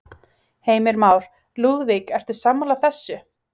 Heimir Már: Lúðvík, ertu sammála þessu?